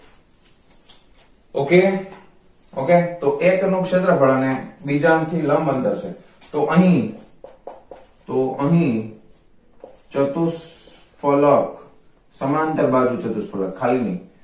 ok ok તો એક અંક થી ક્ષેત્રફળ અને બીજા અંક થી લંબ અંતર છે તો અહી તો અહીં ચતુષ્ફલક સમાંતર બાજૂ ચતુષ્ફલક ખાલી નઈ